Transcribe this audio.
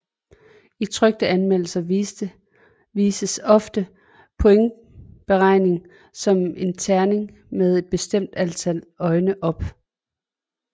I trykte anmeldelser vises ofte pointberegningen som en terning med et bestemt antal øjne op